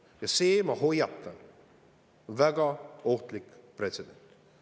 Ja see on, ma hoiatan, väga ohtlik pretsedent.